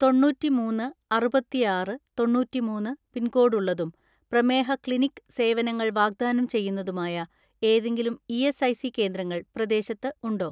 തൊണ്ണൂറ്റിമൂന്ന് അറുപത്തിആറ് തൊണ്ണൂറ്റിമൂന്ന് പിൻകോഡ് ഉള്ളതും പ്രമേഹ ക്ലിനിക്ക് സേവനങ്ങൾ വാഗ്ദാനം ചെയ്യുന്നതുമായ ഏതെങ്കിലും ഇ.എസ്.ഐ.സി കേന്ദ്രങ്ങൾ പ്രദേശത്ത് ഉണ്ടോ?